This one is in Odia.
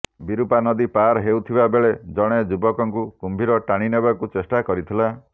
ବିରୂପା ନଦୀ ପାର ହେଉଥିବା ବେଳେ ଜଣେ ଯୁବକଙ୍କୁ କୁମ୍ଭୀର ଟାଣିନେବାକୁ ଚେଷ୍ଟା କରିଥିଲା